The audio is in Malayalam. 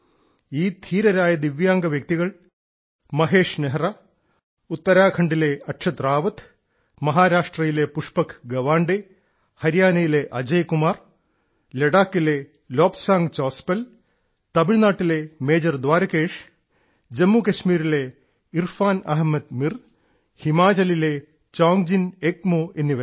ഈ ധീരരായ ദിവ്യാംഗ വ്യക്തികൾ ഗുജറാത്തിലെ മഹേഷ് നെഹ്റ ഉത്തരാഖണ്ഡിലെ അക്ഷത് റാവത്ത് മഹാരാഷ്ട്രയിലെ പുഷ്പക് ഗവാണ്ടെ ഹരിയാനയിലെ അജയ്കുമാർ ലഡാക്കിലെ ലോബ്സാങ് ചോസ്പൽ തമിഴ്നാട്ടിലെ മേജർ ദ്വാരകേഷ് ജമ്മു കാശ്മീരിലെ ഇർഫാൻ അഹമ്മദ് മീർ ഹിമാചലിലെ ചോങ്ജിൻ എംഗ്മോ എന്നിവരാണ്